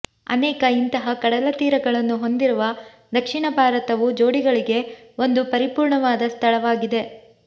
ಅನೇಕ ಇಂತಹ ಕಡಲತೀರಗಳನ್ನು ಹೊಂದಿರುವ ದಕ್ಷಿಣ ಭಾರತವು ಜೋಡಿಗಳಿಗೆ ಒಂದು ಪರಿಪೂರ್ಣವಾದ ಸ್ಥಳವಾಗಿದೆ